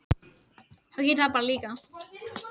Nettó flæðir því varmi úr kaffinu í bollann.